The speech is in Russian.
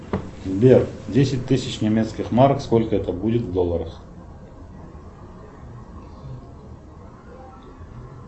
сбер десять тысяч немецких марок сколько это будет в долларах